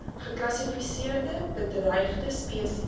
geklassifiseerde bedreigde spesies